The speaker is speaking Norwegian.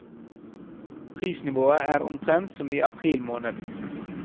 Prisnivået er omtrent som i april måned.